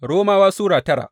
Romawa Sura tara